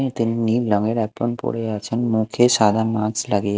নীল রঙের এপ্রন পরে আছেন মুখে সাদা মাস্ক লাগিয়ে।